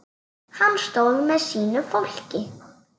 Hann stóð með sínu fólki.